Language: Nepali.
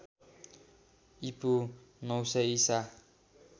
ईपू ९०० ईसा